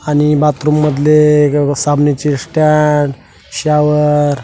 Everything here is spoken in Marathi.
आणि बाथरूम मधले साबणाचे स्टॅन्ड शॉवर --